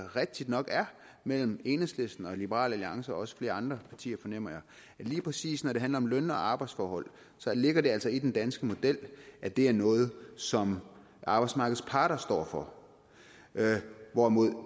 rigtigt nok er mellem enhedslisten og liberal alliance og også flere andre partier fornemmer jeg lige præcis når det handler om løn og arbejdsforhold ligger det altså i den danske model at det er noget som arbejdsmarkedets parter står for hvorimod